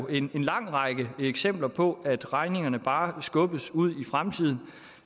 en lang række eksempler på at regningerne bare skubbes ud i fremtiden